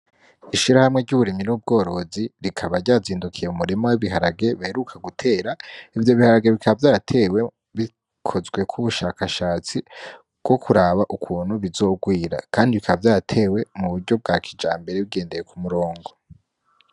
Ishirahamwe ry'uburimyi n'ubworozi rikaba ryazindukiye mu murima w'ibiharage baheruka gutera, ivyo biharage bikaba vyaratewe bikozweko ubushakashatsi bwo kuraba ukuntu bizogwira kandi bikaba vyaratewe mu buryo bwa kijambere bugendeye ku murongo.